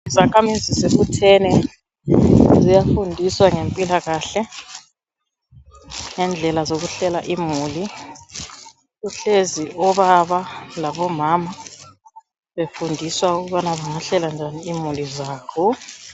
Izakhamizi zibuthene ziyafundiswa ngempilakahle ngendlela zokuhlela imuli kuhlezi obaba labomama befundiswa ukubana bengahlela njani imuli zabo.